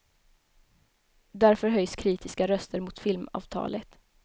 Därför höjs kritiska röster mot filmavtalet.